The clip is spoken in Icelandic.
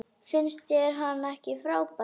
Finnst þér hann ekki frábær?